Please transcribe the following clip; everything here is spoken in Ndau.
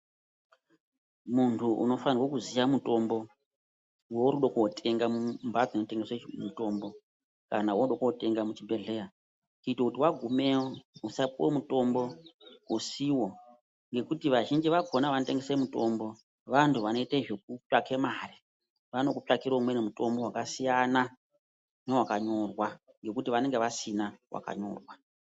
Muntu unofane kuziya mitombo weurikudakundotenga mumhatso dzinotengeswa mutambo kana weunode kootenga muchibhedhleya kuita kuti wagumeyo usapuwe mutombo usiwo, ngekuti vazhinji vakhona vanoite zvekutsvaga mari, vanokutsvakira umweni mutombo wakasiyana newakanyorwa ngekuti vanenge vasina wakanyorwa.